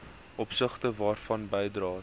opsigte waarvan bydraes